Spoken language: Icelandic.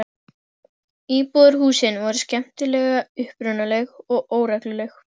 Íbúðarhúsin voru skemmtilega upprunaleg og óregluleg.